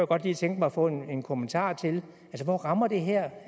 godt lige tænke mig at få en kommentar hvor rammer det her